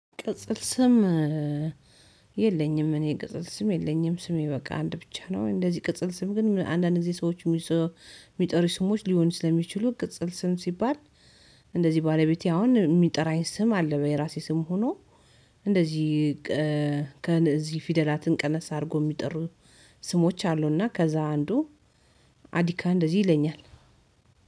ቅጽል ስም የለኝም። እኔ ቅጽል ስም የለኝም ስሜ በቃ አንድ ብቻ ነው። እንደዚህ ቅጽል ስም ግን አንዳንድ እዚህ ሰዎች የሚጠሪ ስሞች ሊሆን ስለሚችሉ ቅጽል ስም ሲባል። እንደዚህ ባለቤቴ አሁን የሚጠራኝ ስም አለ። የራሴ ስም ሆኖ እንደዚህ ከእዚህ ፊደላትን ቀነስ አድርጎ የሚጠሩ ስሞች አሉና ከዛ አንዱ። አዲካ እንደዚህ ይለኛል